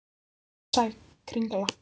Hún var eins og gegnsæ kringla.